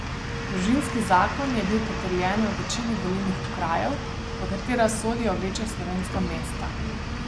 Družinski zakon je bil potrjen v večini volilnih okrajev, v katera sodijo večja slovenska mesta.